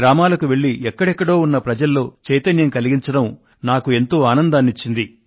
గ్రామాలకు వెళ్లి ఎక్కడెక్కడో ఉన్న ప్రజల్లో చైతన్యం కలిగించడం నాకు ఎంతో ఆనందాన్ని ఇచ్చింది